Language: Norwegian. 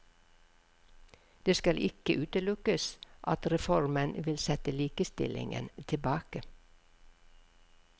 Det skal ikke utelukkes at reformen vil sette likestillingen tilbake.